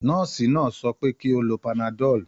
Nọ́ọ̀sì náà sọ pé kí ó lo panadol.